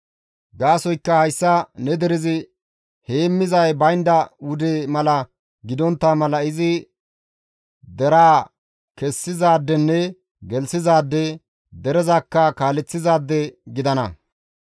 gaasoykka hayssa ne derezi heemmizay baynda wude mala gidontta mala izi deraa kessizaadenne gelththizaade, derezakka kaaleththizaade gidana.»